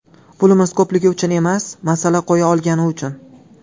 Pulimiz ko‘pligi uchun emas, masala qo‘ya olgani uchun.